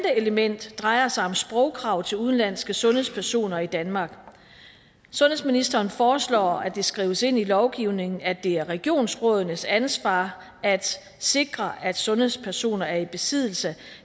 element drejer sig om sprogkrav til udenlandske sundhedspersoner i danmark sundhedsministeren foreslår at det skrives ind i lovgivningen at det er regionsrådenes ansvar at sikre at sundhedspersoner er i besiddelse